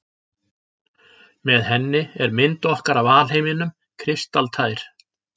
Með henni er mynd okkar af alheiminum kristaltær.